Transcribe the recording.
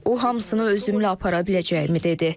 O hamısını özümlə apara biləcəyimi dedi.